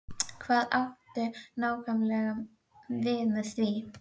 Hvað áttu nákvæmlega við með því?